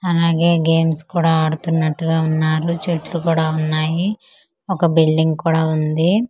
అలాగే గేమ్స్ కూడ అడుతున్నట్టుగా వున్నారు చెట్లు కూడా వున్నాయి ఒక బిల్డింగ్ కూడ వుంది.